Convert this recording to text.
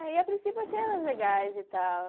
Aí, a princípio, eu achei elas legais e tal.